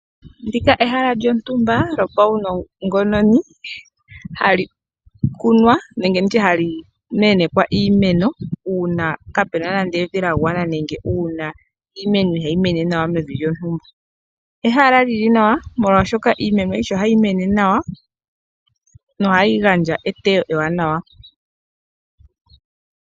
Ndika ehala lyontumba lyopawunongo noni hayikunwa nenge nditye halimenekwa iimeno una kapena nande evi lyangwana nenge iimeno ihayimene nawa mevi lyontumba, ehala lyili nawa molwashoka iimeno ayika ohayi mene nawa nohayigandja etewo lili nawa.